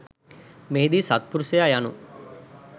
මෙහිදී සත්පුරුෂයා යනු